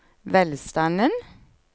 velstanden